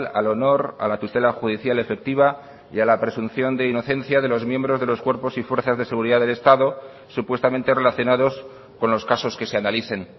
al honor a la tutela judicial efectiva y a la presunción de inocencia de los miembros de los cuerpos y fuerzas de seguridad del estado supuestamente relacionados con los casos que se analicen